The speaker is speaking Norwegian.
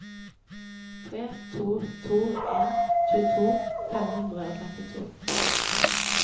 tre to to en tjueto fem hundre og trettito